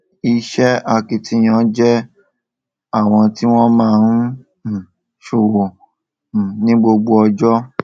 iṣẹ akitiyan jẹ àwọn tí wọn máa ń um ṣọwọ um ní gbogbo ọjọ